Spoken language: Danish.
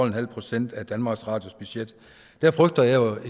en halv procent af danmarks radios budget der frygter jeg jo